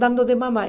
Dando de mamar.